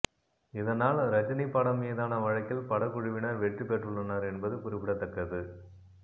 இதனால் ரஜினி படம் மீதான வழக்கில் படக்குழுவினர் வெற்றி பெற்றுள்ளனர் என்பது குறிப்பிடத்தக்கது